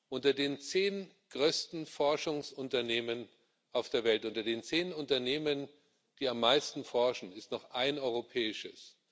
Unter den zehn größten Forschungsunternehmen auf der Welt unter den zehn Unternehmen, die am meisten forschen ist noch ein europäisches.